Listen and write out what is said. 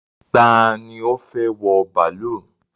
Ta ni ó fẹ́ wọ bàálù?